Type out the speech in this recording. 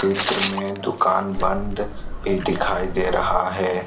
चित्र में दुकान बंद भी दिखाई दे रहा है।